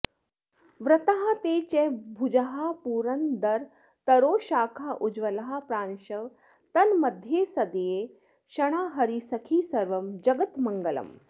वृत्तास्ते च भुजाः पुरन्दरतरोश्शाखोज्ज्वलाः प्रांशवः तन्मद्ध्ये सदये क्षणा हरिसखी सर्वं जगन्मङ्गळम्